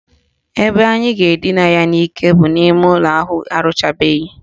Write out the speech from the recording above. Ebe anyị ga-edina ya n'ike bụ n'ime ụlọ ahụ arụchabeghi